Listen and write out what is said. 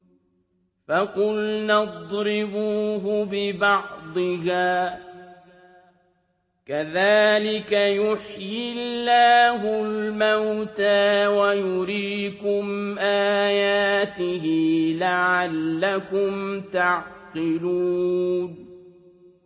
فَقُلْنَا اضْرِبُوهُ بِبَعْضِهَا ۚ كَذَٰلِكَ يُحْيِي اللَّهُ الْمَوْتَىٰ وَيُرِيكُمْ آيَاتِهِ لَعَلَّكُمْ تَعْقِلُونَ